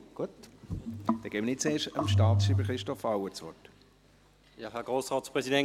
Gut, dann gebe ich zuerst dem Staatschreiber, Christoph Auer, das Wort.